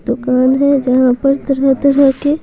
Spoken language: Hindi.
दुकान है जहाँ पर तरह-तरह के --